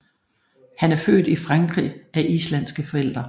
Han er født i Frankrig af islandske forældre